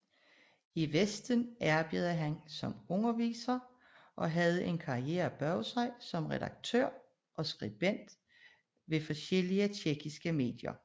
I vesten arbejdede han som underviser og havde en karriere bag sig som redaktør og skribent ved forskellige tjekkiske medier